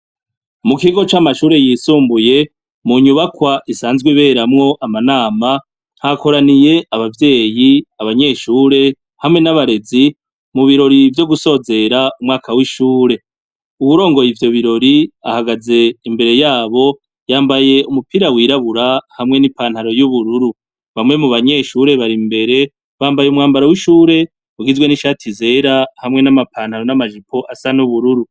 Mu kigo c'amashure yisumbuye, mu nyubakwa isanzwe iberamwo amanama, hakoraniye abavyeyi, abanyeshure hamwe n'abarezi mu birori vyo gisozera umwaka w'ishure. Uwurongoye ivyo birori ahagaze imbere yabo, yambaye umupira wirabura hamwe n'ipantaro y'ubururu. Bamwe mu banyeshure bari imbere, bambaye umwambaro w'ishure, ugizwe n’ishati zera, hamwe n'amapantaro n'amajipo asa n'ubururu.